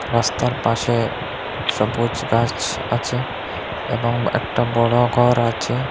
রাস্তার পাশে সবুজ গাছ আছে এবং একটা বড় ঘর আছে।